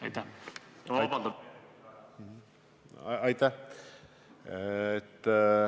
Aitäh!